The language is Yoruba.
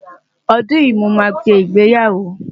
ọdún yí ní mọ má sé ìgbéyàwó